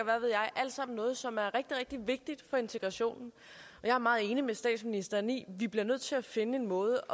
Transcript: alt sammen noget som er rigtig rigtig vigtigt for integrationen jeg er meget enig med statsministeren i vi bliver nødt til at finde en måde